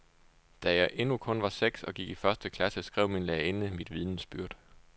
Da jeg endnu kun var seks og gik i første klasse, skrev min lærerinde i mit vidnesbyrd.